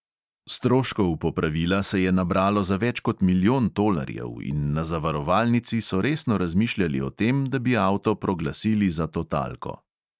Stroškov popravila se je nabralo za več kot milijon tolarjev in na zavarovalnici so resno razmišljali o tem, da bi avto proglasili za totalko.